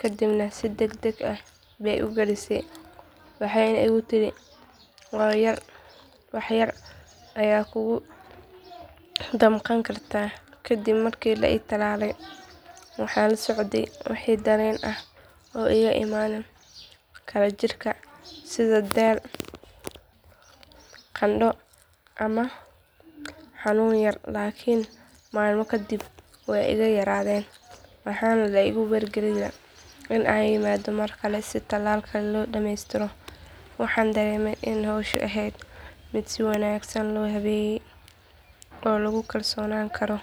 kadibna si degdeg ah bay u gelisay waxayna igu tidhi wax yar ayay kugu damqan kartaa kadib markii la i tallaalay waxaan la socday wixii dareen ah oo iiga imaan kara jirka sida daal qandho ama xanuun yar laakiin maalmo kadib way iga yaraadeen waxaana la igu wargeliyay in aan yimaado markale si tallaal kale loo dhameystiro waxaan dareemay in howshu ahayd mid si wanaagsan loo habeeyay oo lagu kalsoonaan karo.